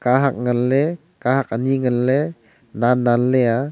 kahak ngan ley kahak ani ngan ley nen nen ley a.